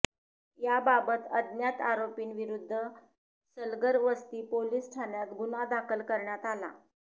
याबाबत अज्ञात आरोपींविरूद्ध सलगरवस्ती पोलीस ठाण्यात गुन्हा दाखल करण्यात आला